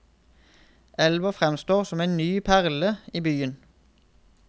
Elva framstår som en ny perle i byen.